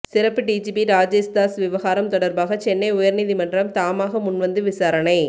சிறப்பு டிஜிபி ராஜேஷ் தாஸ் விவகாரம் தொடர்பாக சென்னை உயர்நீதிமன்றம் தாமாக முன்வந்து விசாரணை